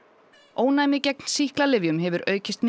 ónæmi gegn sýklalyfjum hefur aukist